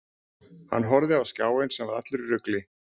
Hann horfði á skjáinn sem var allur í rugli.